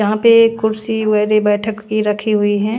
जहां पे कुर्सी बैठक की रखी हुई है।